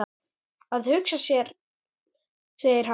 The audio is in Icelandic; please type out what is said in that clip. Að hugsa sér segir hann.